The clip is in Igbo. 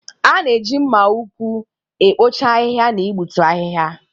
A na-eji mma ukwu ekpocha ahịhịa na igbutu ahịhịa.